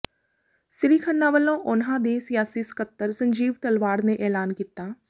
ਸ੍ਰੀ ਖੰਨਾ ਵੱਲੋਂ ਉਨ੍ਹਾਂ ਦੇ ਸਿਆਸੀ ਸਕੱਤਰ ਸੰਜੀਵ ਤਲਵਾੜ ਨੇ ਐਲਾਨ ਕੀਤਾ